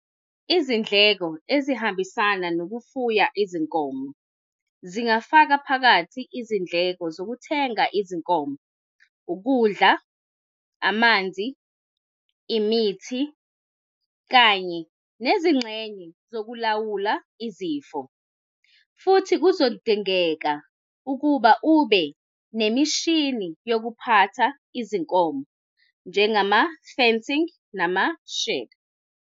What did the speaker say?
Izindleko ezihambisana nokufuya izinkomo, zingafaka phakathi izindleko zokuthenga izinkomo, ukudla, amanzi, imithi, kanye nezingxenye zokulawula izifo. Futhi, kuzodingeka ukuba ube nemishini yokuphatha izinkomo njengama-fencing, nama-shed.